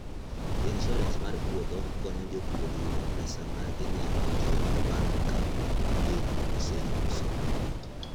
Insuarans mar puothe konyo jopur yudo pesa ma ginyalo tiyogo bang' ka piny oseyuso.